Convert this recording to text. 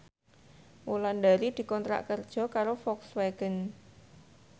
Wulandari dikontrak kerja karo Volkswagen